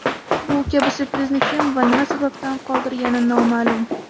Bu kabi syurprizni kim va nima sababdan qoldirgani noma’lum.